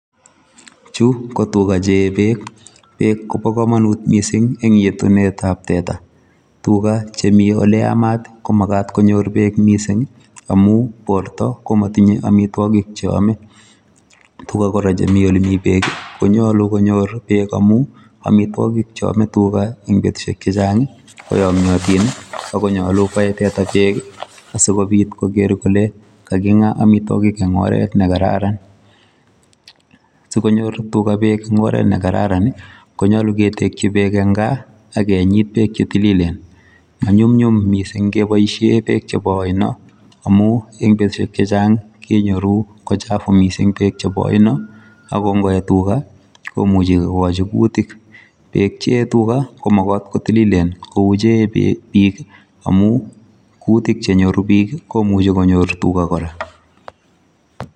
Chu ko tuga che eei beek, Beek ko bo komomut missing eng yetunetab teta. Tuga che mi ole yamat ko makat konyor bek missing amu borto ko motinyei amitwogik cheyamei. Tuga kora chemi ole mi beek konyolu konyor beek amu amitwogik cheyomei tuga eng betusiek chechang koyomiotin ako nyolu koe teta beek si kobit koker kole kakinga amitwogik eng oret ne kararan. Sikonyor tuga beek eng oret ne kararan ko nyolu ketekji beek eng gaa ak kenyit beek chetililen. Manyumnyum missing keboishe beeek chebo oino amu eng betushek chechang kenyoru ko chafu missing beek chebo oino ak ngoe tuga komuchi kokoji kuutik beek chei tuga ko makat kotililien kou che eei bik amu kuutik che nyoru bik komuchi konyor tuga kora.